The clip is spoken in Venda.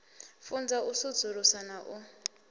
funza u sudzulusa na u